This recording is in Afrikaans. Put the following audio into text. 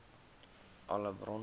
alle bronne